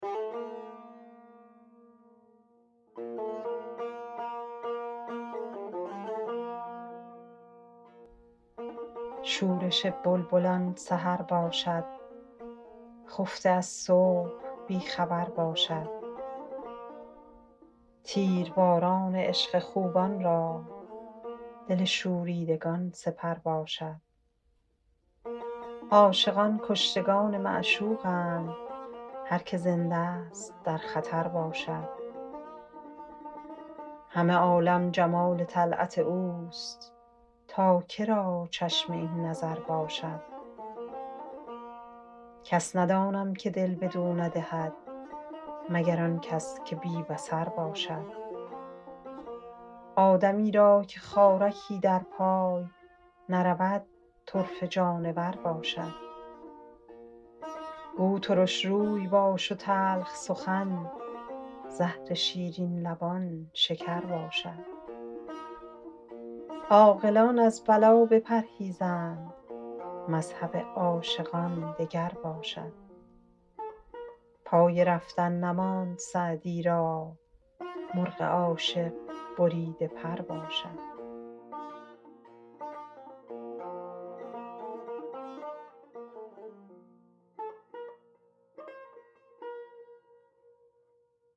شورش بلبلان سحر باشد خفته از صبح بی خبر باشد تیرباران عشق خوبان را دل شوریدگان سپر باشد عاشقان کشتگان معشوقند هر که زنده ست در خطر باشد همه عالم جمال طلعت اوست تا که را چشم این نظر باشد کس ندانم که دل بدو ندهد مگر آن کس که بی بصر باشد آدمی را که خارکی در پای نرود طرفه جانور باشد گو ترش روی باش و تلخ سخن زهر شیرین لبان شکر باشد عاقلان از بلا بپرهیزند مذهب عاشقان دگر باشد پای رفتن نماند سعدی را مرغ عاشق بریده پر باشد